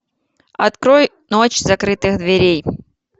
открой ночь закрытых дверей